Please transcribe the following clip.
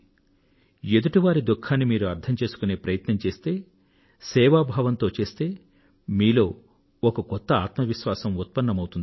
ఎదుటి వారి దుఖాన్నిమీరు అర్థం చేసుకునే ప్రయత్నం చేస్తే సేవాభావంతో చేస్తే మీలో ఒక కొత్త ఆత్మవిశ్వాసం ఉత్పన్నమౌతుంది